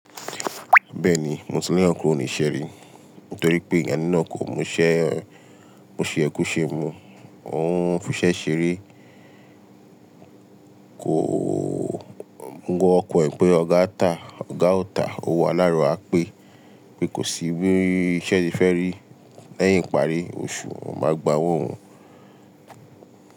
Bẹ́ẹ̀ni, Mùsùlùmí ọ̀kú ò ní ṣeré nítorí pé ìgbà nínà ko muṣẹ́, mu ṣe ẹ kú ṣe mu. Ohun fi ṣe ṣeré kò ọkàn pé ọ̀gá tà ọ̀gá ò tà owó aláàrù á pé, pé kòsí bí iṣẹ́ ṣe fẹ́rí. Lẹ́yìn ìparí oṣù, wọ́n máa gbàwọ́n.